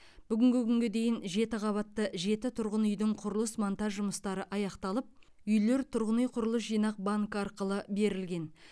бүгінгі күнге дейін жеті қабатты жеті тұрғын үйдің құрылыс монтаж жұмыстары аяқталып үйлер тұрғын үй құрылыс жинақ банкі арқылы берілген